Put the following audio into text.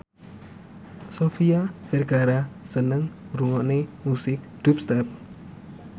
Sofia Vergara seneng ngrungokne musik dubstep